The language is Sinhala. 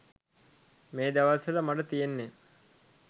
මේ දවස්වල මට තියෙන්නෙ